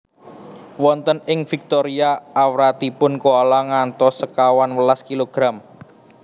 Wonten ing Victoria awratipun koala ngantos sekawan welas kilogram